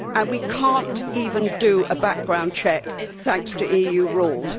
We cannot even do a background check, thanks to EU rules.